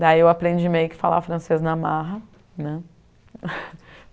Daí eu aprendi meio que a falar francês na marra né.